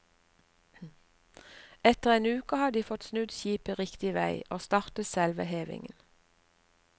Etter en uke hadde de fått snudd skipet riktig vei og startet selve hevingen.